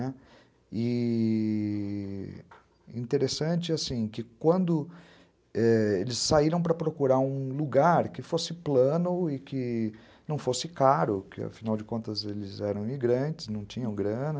Né, e... e interessante assim, que quando eles saíram para procurar um lugar que fosse plano e que não fosse caro, porque, afinal de contas, eles eram imigrantes, não tinham grana,